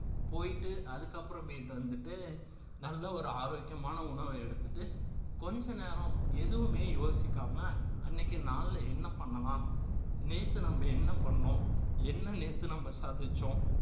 போயிட்டு அதுக்கப்புறமேட்டு வந்துட்டு நல்ல ஒரு ஆரோக்கியமான உணவை எடுத்துட்டு கொஞ்ச நேரம் எதுவுமே யோசிக்காம அன்னைக்கு நாள்ல என்ன பண்ணலாம் நேத்து நம்ம என்ன பண்ணோம் என்ன நேத்து நம்ம சாதிச்சோம்